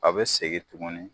A bɛ segin tugunni.